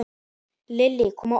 Lillý: Kom á óvart?